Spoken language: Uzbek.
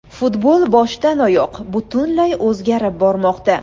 Futbol boshdan oyoq, butunlay o‘zgarib bormoqda.